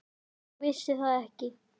Ég vissi það ekki.